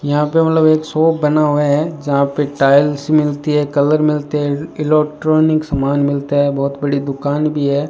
यहां पे मतलब एक शॉप बना हुआ है जहां पे टाइल्स मिलती है कलर मिलते हैं इलोट्रॉनिक सामान मिलता है बहोत बड़ी दुकान भी है।